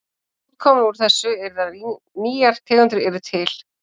Útkoman úr þessu yrði að nýjar tegundir yrðu til.